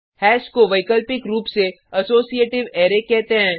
hash को वैकल्पिक रूप से असोसिएटिव अरै कहते हैं